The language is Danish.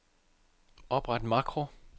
Opret makro.